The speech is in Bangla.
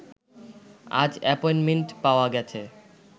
আজ অ্যাপয়েন্টমেন্ট পাওয়া গেছে